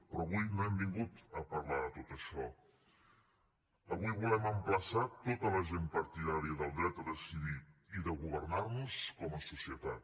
però avui no hem vingut a parlar de tot això avui volem emplaçar tota la gent partidària del dret a decidir i de governar nos com a societat